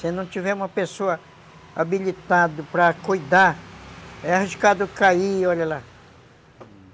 Se não tiver uma pessoa habilitada para cuidar, é arriscado cair, olha lá, hum.